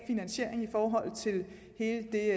finansiering i forhold til hele det